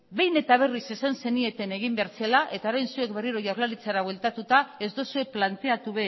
behin eta berriz esan zenieten egin behar zela eta orain zuek berriko jaurlaritzara bueltatuta ez duzue planteatu